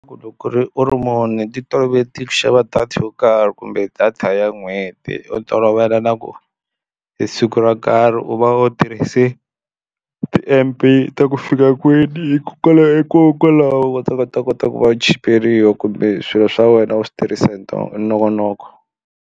Loko ku ri u ri ti toloveti ku xava data yo karhi kumbe data ya n'hweti u tolovela na ku hi siku ro karhi u va u tirhise ti-M_B ta ku fika kwini hikokwalaho hikokwalaho va ta va ta kota ku va chiperiwa kumbe swilo swa wena u swi tirhisa hi hi nongonoko.